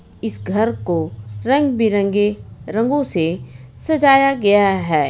इस घर को रंग-बिरंगे रंगों से सजाया गया है.